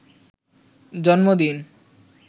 জন্মদিন